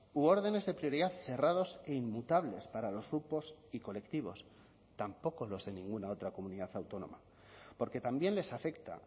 u órdenes de prioridad cerrados e inmutables para los grupos y colectivos tampoco los de ninguna otra comunidad autónoma porque también les afecta